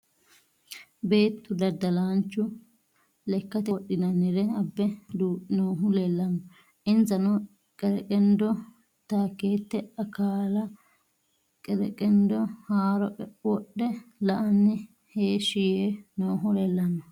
Beettu dadalaanchu lekkatte wodhinannire abbe duu'ne noohu leelanno. Insanno qereqendo, taakette akalla , qereqendo haaro wodhe la'anni heeshi yee noohu leelanno